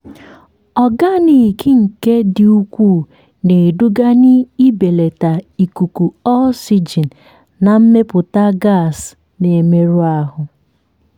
ọganiki nke dị ukwuu na-eduga n'ibelata ikuku oxygen na mmepụta gas na-emerụ ahụ.